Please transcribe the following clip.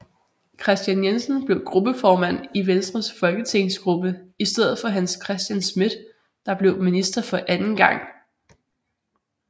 Kristian Jensen blev gruppeformand i Venstres folketingsgruppe i stedet for Hans Christian Schmidt der blev minister for anden gang